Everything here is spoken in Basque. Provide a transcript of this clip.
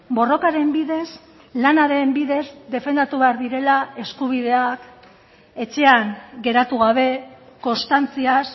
borrokaren bidez lanaren bidez defendatu behar direla eskubideak etxean geratu gabe konstantziaz